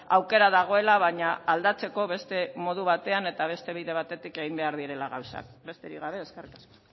aukera dagoela baina aldatzeko beste modu batean eta beste bide batetik egin behar direla gauzak besterik gabe eskerrik asko